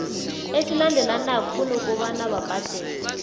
esilandelanako kunokobana babhadele